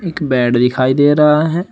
एक बेड दिखाई दे रहा है।